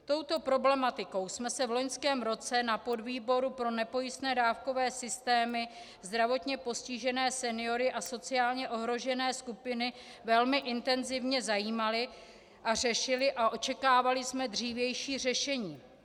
Touto problematikou jsme se v loňském roce na podvýboru pro nepojistné dávkové systémy, zdravotně postižené, seniory a sociálně ohrožené skupiny velmi intenzivně zajímali a řešili a očekávali jsme dřívější řešení.